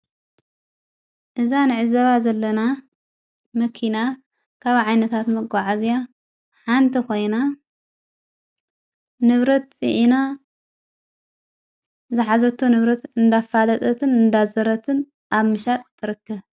እዛ ንዕዘባ ዘለና መኪና ካብ ዓይነታት መጐዓዚያ ሓንቲ ኾይና ንብረት ፂዕና ዝኃዘቶ ንብረት እንዳፋደጠትን እንዳዘረትን ኣብ ምሻጥ ትርከብ ::